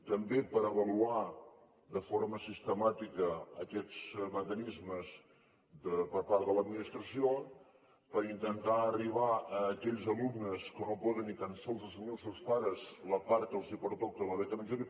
també per avaluar de forma sistemàtica aquests mecanismes per part de l’administració per intentar arribar a aquells alumnes que no poden ni tan sols assumir els seus pares la part que els pertoca de la beca menjador